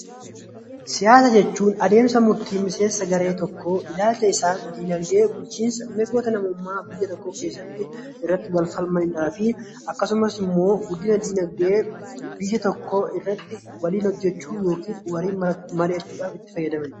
Siyaasa jechuun adeemsa murtii garee siyaasaa tokkoo ilaalcha isaan dinaagdee, bulchiinsa fi mirga birmadummaa biyya tokkoo keessatti ammayyaa fi guddina dinaagdee biyya tokkoo irratti waliin hojjechaa yookaan itti fayyadamanidha.